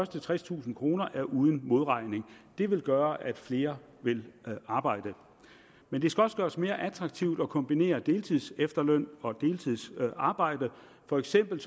tredstusind kroner er uden modregning det vil gøre at flere vil arbejde men det skal også gøres mere attraktivt at kombinere deltidsefterløn og deltidsarbejde for eksempel